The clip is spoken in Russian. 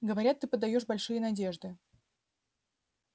говорят ты подаёшь большие надежды